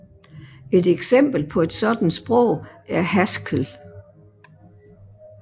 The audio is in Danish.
Et eksempel på et sådan sprog er Haskell